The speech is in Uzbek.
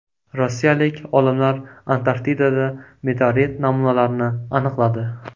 Rossiyalik olimlar Antarktidada meteorit namunalarini aniqladi.